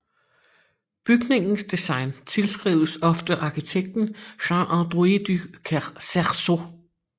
Bygningens design tilskrives oftest arkitekten Jean Androuet du Cerceau